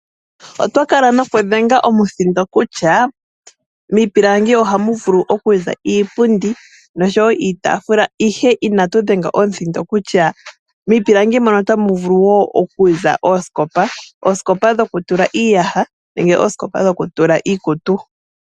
Oto kala nokudhenga omuthindo kutya miipilangi oha mu vulu oku za iipundi nosho wo iitafula, ihe inatu dhenga omuthindo kutya miipilangi mono ota mu vulu wo oku za oosikopa. Osikopa dhokutula iiyaha nenge oosikopa dhokutula iikutu.